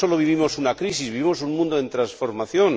no sólo vivimos una crisis, vivimos un mundo en transformación.